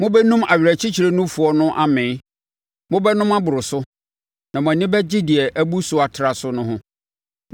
Mobɛnum nʼawerɛkyekyerɛ nufoɔ no amee; mobɛnom aboro so na mo ani bɛgye deɛ abu so atra so no ho.